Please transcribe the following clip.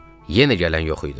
Yenə gələn yox idi.